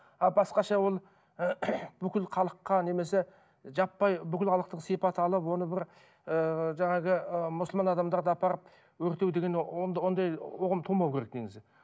а басқаша ол бүкіл халыққа немесе жаппай бүкіл халықтық сипат алып оны бір ыыы жаңағы ы мұсылман адамдарды апарып өртеу деген ондай ұғым тумау керек негізі